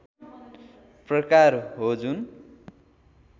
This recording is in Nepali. प्रकार हो जुन